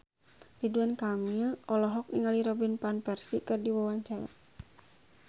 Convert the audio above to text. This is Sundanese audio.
Ridwan Kamil olohok ningali Robin Van Persie keur diwawancara